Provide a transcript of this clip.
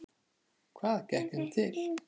Hvað gekk þeim til?